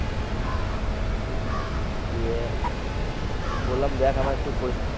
গিয়ে বললাম দেখ আমার একটু পরি।